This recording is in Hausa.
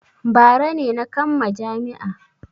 Bara ne na kamma jami'a.